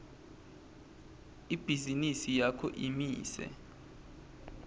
ibhizinisi yakho imise